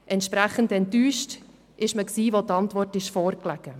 Entsprechend enttäuscht war man, als die Antwort vorlag.